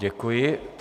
Děkuji.